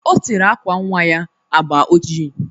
Ọ tere àkwà nnwa ya agba oji.